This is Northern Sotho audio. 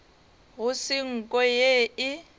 go se nko ye e